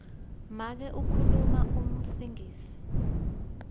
make ukhuluma singisi